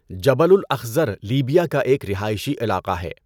Jabal al Akhdar Libya کا ایک رہائشی علاقہ ہے۔